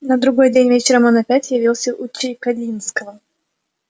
на другой день вечером он опять явился у чекалинского